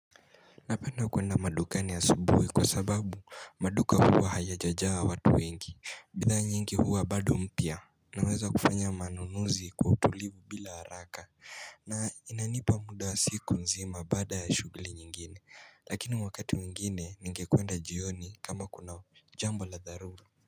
Napenda kuenda madukani asubuhi kwa sababu maduka huwa haya jajaa watu wengi bidhaa nyingi huwa bado mpya unaweza kufanya manunuzi kwa utulivu bila haraka na inanipa muda siku nzima baada ya shuguli nyingine Lakini wakati mwingine ningekuenda jioni kama kuna jambo la dharura.